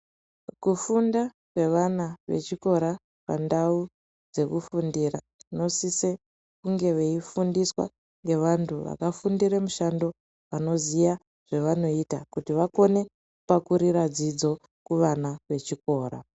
Kufunda kwevana vechikora pandau dzekufundira vanosise kunge veifundiswa ngevantu vakafundire mushando vanoziye zvavanoita kuti vakone kupakurira dzidzo kuvana vechikora.